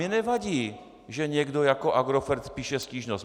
Mně nevadí, že někdo jako Agrofert píše stížnost.